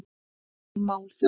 Ný mál þá?